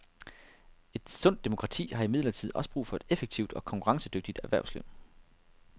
Et sundt demokrati har imidlertid også brug for et effektivt og konkurrencedygtigt erhvervsliv.